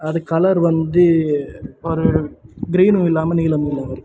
அது கலர் வந்து ஒரு கிரீன்னும் இல்லாம நீலமும் இரு.